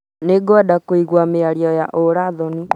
Nĩngwenda kũigua mĩario ya ũũra thoni.